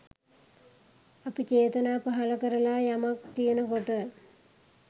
අපි චේතනා පහළ කරලා යමක් කියන කොට